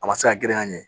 A ma se ka grin ka ɲɛ